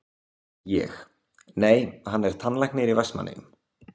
Ég: Nei, hann er tannlæknir í Vestmannaeyjum?